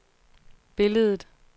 billedet